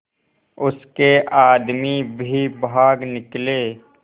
उसके आदमी भी भाग निकले